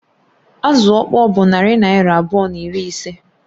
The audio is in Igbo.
Azụ ọkpọr bụ narị naịra abụọ na iri ise